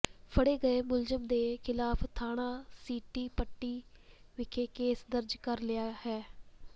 ਫੜੇ ਗਏ ਮੁਲਜ਼ਮ ਦੇ ਖਿਲਾਫ ਥਾਣਾ ਸਿਟੀ ਪੱਟੀ ਵਿਖੇ ਕੇਸ ਦਰਜ ਕਰ ਲਿਆ ਹੈ